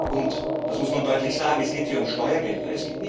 Und das muss man deutlich sagen es geht hier um Steuergelder.